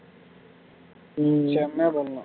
உம் செமையா பண்ணலாம்